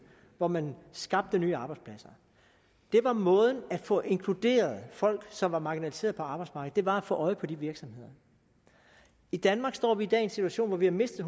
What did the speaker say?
hvor man skabte nye arbejdspladser det var måden at få inkluderet folk som var marginaliseret på arbejdsmarkedet var at få øje på de virksomheder i danmark står vi i dag i en situation hvor vi har mistet